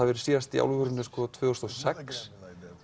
verið síðast í alvörunni tvö þúsund og sex